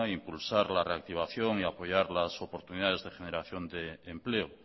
impulsar la reactivación y apoyar las oportunidades de generación de empleo